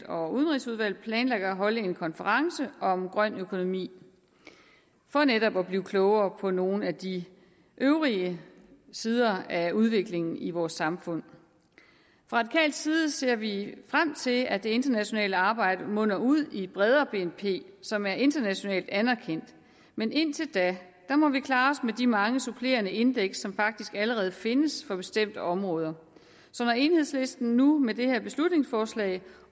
og udenrigsudvalget planlægger at holde en konference om grøn økonomi for netop at blive klogere på nogle af de øvrige sider af udviklingen i vores samfund fra radikal side ser vi frem til at det internationale arbejde munder ud i et bredere bnp som er internationalt anerkendt men indtil da må vi klare os med de mange supplerende indeks som faktisk allerede findes for bestemte områder så når enhedslisten nu med det her beslutningsforslag